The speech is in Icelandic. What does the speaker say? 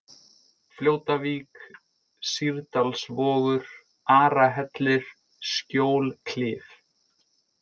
Fljótavík, Sýrdalsvogur, Arahellir, Skjólklif